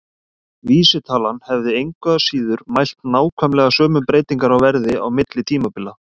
Vísitalan hefði engu að síður mælt nákvæmlega sömu breytingar á verði á milli tímabila.